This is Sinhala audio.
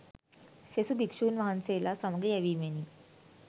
සෙසු භික්‍ෂූන් වහන්සේලා සමග යැවීමෙනි